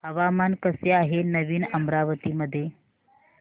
हवामान कसे आहे नवीन अमरावती मध्ये